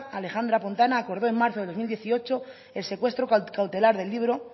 alejandra pontana acordó en marzo de dos mil dieciocho el secuestro cautelar del libro